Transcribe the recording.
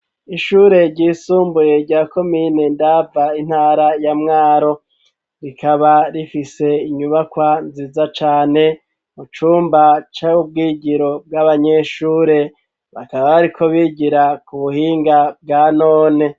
Ishure ryisumbuye rya komiyine ndava intara ya mwaro rikaba rifise inyubakwa nziza cane mu cumba ca ubwigiro bw'abanyeshure bakaba, ariko bigira ku buhinga bwa none.